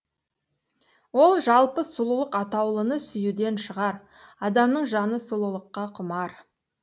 ол жалпы сұлулық атаулыны сүюден шығар адамның жаны сұлулыққа құмар